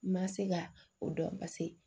N ma se ka o dɔn paseke